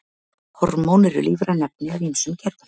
Hormón eru lífræn efni af ýmsum gerðum.